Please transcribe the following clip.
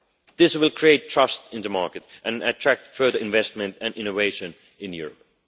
This will create trust in the market and attract further investment and innovation in Europe.